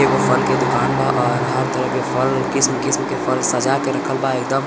एगो फल के दुकान बा और हर तरह के फल किस्म-किस्म सजावल के रखलवा एक दम--